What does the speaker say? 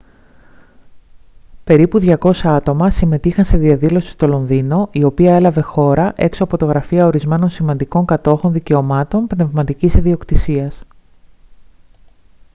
περίπου 200 άτομα συμμετείχαν σε διαδήλωση στο λονδίνο η οποία έλαβε χώρα έξω από τα γραφεία ορισμένων σημαντικών κατόχων δικαιωμάτων πνευματικής ιδιοκτησίας